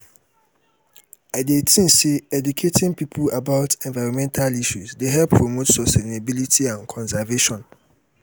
i dey think say educating people about environmental issues dey help promote sustainability and conservation.